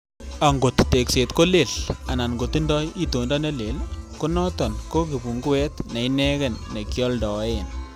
Angot tekset ko leel, anan kotindoi itondo ne leel, ko noton ko kipunguet neinegen nekioldoen.